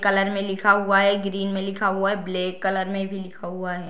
Colour में लिखा हुआ है ग्रीन में लिखा हुआ है ब्लैक कलर में भी लिखा हुआ है।